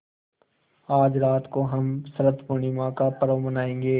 आज रात को हम शरत पूर्णिमा का पर्व मनाएँगे